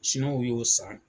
y'o san